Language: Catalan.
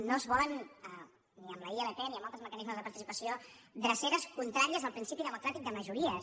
no es volen ni amb la ilp ni amb altres mecanismes de participació dreceres contràries al principi democràtic de majories